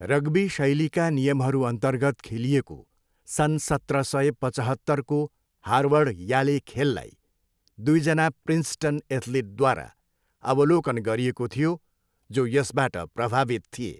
Rugby शैलीका नियमहरूअन्तर्गत खेलिएको सन् सत्र सय पचहत्तरको हार्वर्ड याले खेललाई दुईजना प्रिन्सटन एथ्लिटद्वारा अवलोकन गरिएको थियो, जो यसबाट प्रभावित थिए।